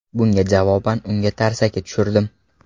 Bunga javoban unga tarsaki tushirdim.